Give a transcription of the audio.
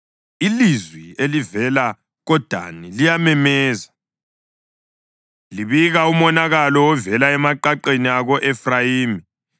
Ilizwi elivela koDani liyamemeza, libika umonakalo ovela emaqaqeni ako-Efrayimi